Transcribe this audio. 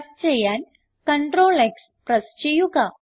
cut ചെയ്യാൻ CTRLX press ചെയ്യുക